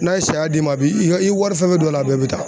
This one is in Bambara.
N'a ye saya d'i ma i bi i ka i y'i wari fɛn fɛn don a la a bɛɛ bɛ taa